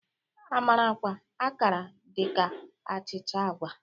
Amarakwa Akara dị ka achịcha agwa.